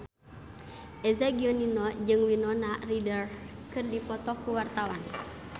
Eza Gionino jeung Winona Ryder keur dipoto ku wartawan